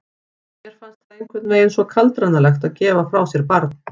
Mér finnst það einhvern veginn svo kaldranalegt að gefa frá sér barn.